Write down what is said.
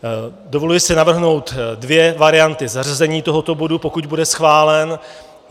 Dovoluji si navrhnout dvě varianty zařazení tohoto bodu, pokud bude schválen.